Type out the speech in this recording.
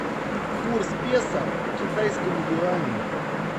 курс песо к китайскому юаню